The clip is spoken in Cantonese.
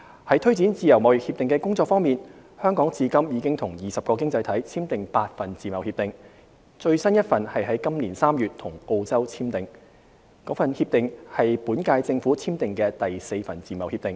在推展自貿協定的工作方面，香港至今已與20個經濟體簽訂8份自貿協定，最新一份是於今年3月與澳洲簽訂，該協定為本屆政府簽訂的第四份自貿協定。